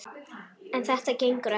En þetta gengur ekki!